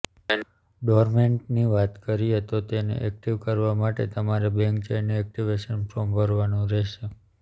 ડોરમેન્ટની વાત કરીએ તો તેને એક્ટિવ કરવા માટે તમારે બેન્ક જઇને એક્ટિવેશન ફોર્મ ભરવાનું રહેશે